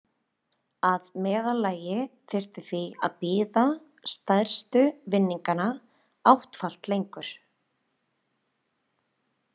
Að meðaltali þyrfti því að bíða stærstu vinninganna áttfalt lengur.